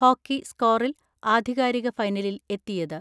Hockey സ്കോറിൽ ആധികാരിക ഫൈനലിൽ എത്തിയത്.